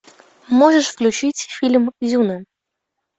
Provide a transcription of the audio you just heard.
можешь включить фильм зюна